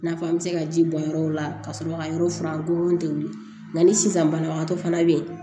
N'a fɔ an bɛ se ka ji bɔn yɔrɔw la ka sɔrɔ ka yɔrɔ furan kolon tɛ weele nka ni sisan banabagatɔ fana bɛ yen